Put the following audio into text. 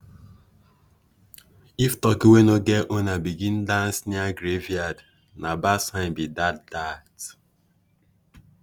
if turkey wey no get owner begin dance near graveyard na bad sign be that. that.